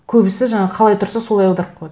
көбісі жаңа қалай тұрса солай аударып қояды